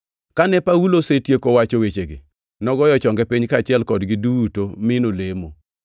Kane Paulo osetieko wacho wechegi, nogoyo chonge piny kaachiel kodgi duto mi nolemo.